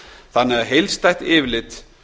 þannig að heildstætt yfirlit